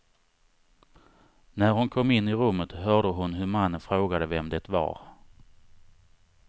När hon kom in i rummet hörde hon hur mannen frågade vem det var.